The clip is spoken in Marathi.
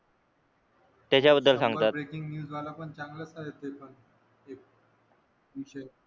ब्रेकिंग न्यूज वाला पण आहे पेपर विषय